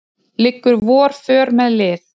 liggur vor för með lið